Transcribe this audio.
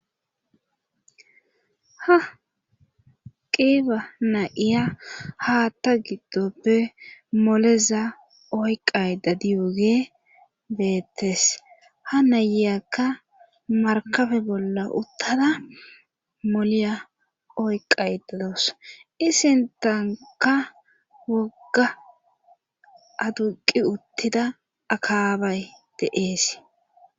ha qiiba na7iya haatta giddoppe moleza oyqay dadiyogee beettes ha nayiyakka markabe bolla uttada moleya oyqay dados isintanka wogga aduqi uttida akaabay deees